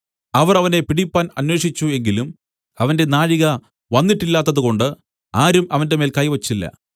അവർ അവനെ പിടിപ്പാൻ അന്വേഷിച്ചു എങ്കിലും അവന്റെ നാഴിക വന്നിട്ടില്ലാത്തതുകൊണ്ട് ആരും അവന്റെമേൽ കൈ വെച്ചില്ല